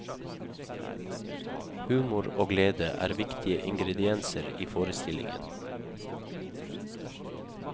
Humor og glede er viktige ingredienser i forestillingen.